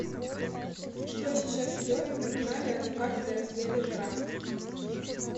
что сейчас идет на канале от заката до рассвета жара